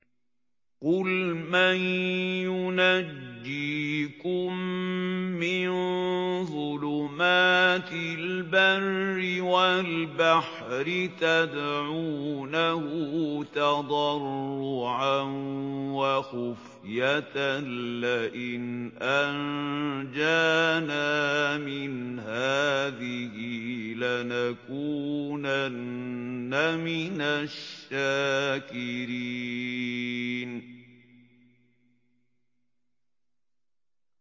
قُلْ مَن يُنَجِّيكُم مِّن ظُلُمَاتِ الْبَرِّ وَالْبَحْرِ تَدْعُونَهُ تَضَرُّعًا وَخُفْيَةً لَّئِنْ أَنجَانَا مِنْ هَٰذِهِ لَنَكُونَنَّ مِنَ الشَّاكِرِينَ